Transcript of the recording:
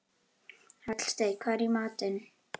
Hallsteinn, hvað er í matinn?